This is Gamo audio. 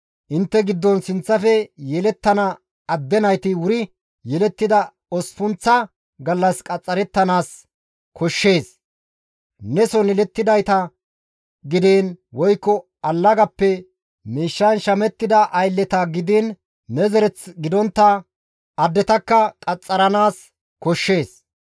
Intte giddon sinththafe yelettana adde nayti wuri yelettida osppunththa gallas qaxxarettanaas koshshees; neson yelettidayta gidiin, woykko allagappe miishshan shamettida aylleta gidiin ne zereth gidontta addetakka qaxxaranaas koshshees.